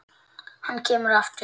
Hann kemur aftur.